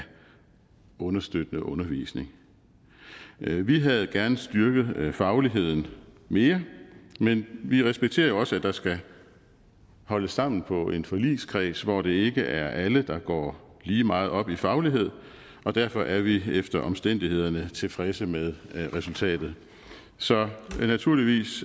understøttende undervisning vi vi havde gerne styrket fagligheden mere men vi respekterer jo også at der skal holdes sammen på en forligskreds hvor det ikke er alle der går lige meget op i faglighed og derfor er vi efter omstændighederne tilfredse med resultatet så naturligvis